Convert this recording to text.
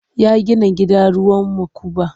Ya gina gida ruwan makuba.